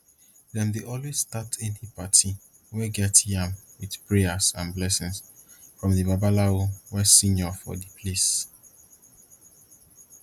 dem dey always start any party wey get yam with prayers and blessings from the babalawo wey senior for d place